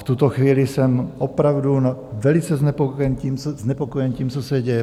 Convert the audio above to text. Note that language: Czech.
V tuto chvíli jsem opravdu velice znepokojen tím, co se děje.